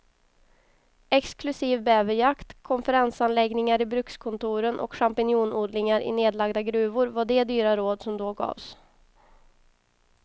Exklusiv bäverjakt, konferensanläggningar i brukskontoren och champinjonodlingar i nedlagda gruvor var de dyra råd som då gavs.